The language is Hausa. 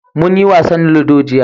Munyi wasan ludo jiya.